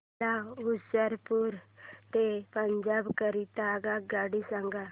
मला होशियारपुर ते पंजाब करीता आगगाडी सांगा